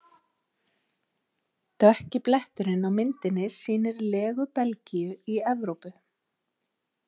Dökki bletturinn á myndinni sýnir legu Belgíu í Evrópu.